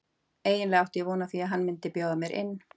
Eiginlega átti ég von á því að hann myndi bjóða mér inn.